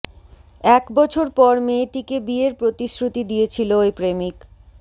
এক বছর পর মেয়েটিকে বিয়ের প্রতিশ্রুতি দিয়েছিল ওই প্রেমিক